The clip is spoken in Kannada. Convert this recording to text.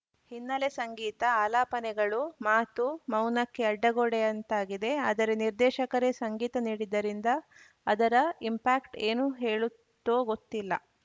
ಹಿನ್ನೆಲೆ ಸಂಗೀತ ಆಲಾಪನೆಗಳು ಮಾತು ಮೌನಕ್ಕೆ ಅಡ್ಡಗೋಡೆಯಂತಾಗಿದೆ ಆದರೆ ನಿರ್ದೇಶಕರೇ ಸಂಗೀತ ನೀಡಿದ್ದರಿಂದ ಅದರ ಇಂಪ್ಯಾಕ್ಟ್ ಏನು ಹೇಳುತ್ತೋ ಗೊತ್ತಿಲ್ಲ